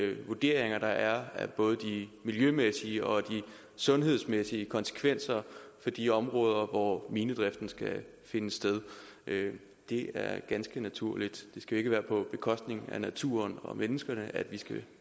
i de vurderinger der er af både de miljømæssige og de sundhedsmæssige konsekvenser for de områder hvor minedriften skal finde sted det er ganske naturligt det skal ikke være på bekostning af naturen og menneskene at vi skal